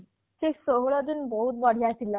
ସେ ଷୋହଳ ଦିନ୍ ବହୁତ ବଢିଆ ଥିଲା